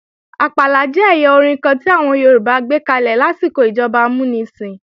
Àpàlà jẹ́ ẹ̀yà orin kan tí àwọn Yorùbá gbékalè lásìkò ìjọba amúnisìn